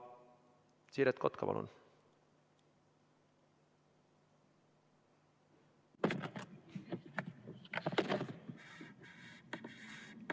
Siret Kotka, palun!